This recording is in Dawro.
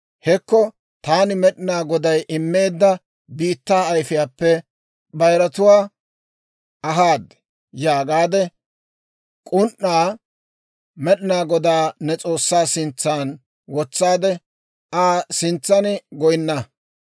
Hekko taani Med'inaa Goday immeedda biittaa ayfiyaappe koyruwaa ahaaddi› yaagaade, k'un"aa Med'inaa Godaa ne S'oossaa sintsan wotsaade, Aa sintsan goyinna.